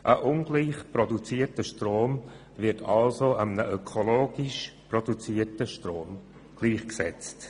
Ein ungleich produzierter Strom wird damit einem ökologisch produzierten Strom gleichgesetzt.